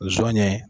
Zon ye